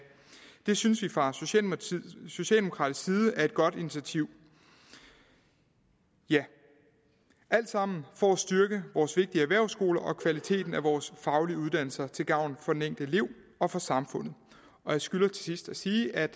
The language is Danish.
det synes vi fra socialdemokratisk side er et godt initiativ det er alt sammen for at styrke vores vigtige erhvervsskoler og kvaliteten af vores faglige uddannelser til gavn for den enkelte elev og for samfundet jeg skylder til sidst sige at